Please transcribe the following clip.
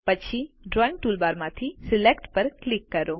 પછી drawing toolbar માંથી select પર ક્લિક કરો